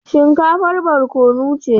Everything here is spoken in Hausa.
Shinkafar barkono ce.